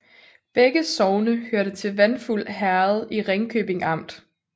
Begge sogne hørte til Vandfuld Herred i Ringkøbing Amt